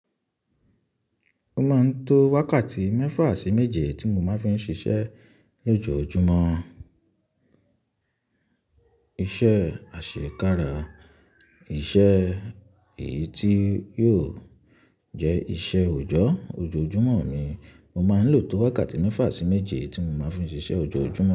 O máa ń to wákàtí mẹ́fà sí méje tí mo máa ń fi ń ṣiṣẹ́ lójoojúmọ́. Iṣẹ́ àṣekára, iṣẹ́ èyí tí yóò jẹ́ iṣẹ́ òòjọ́ ojoojúmọ́ mi. Mo máa ń lò tó wákàtí mẹ́fà sí méje tí mo máa ń fi ń ṣiṣẹ́ ojoojúmọ́.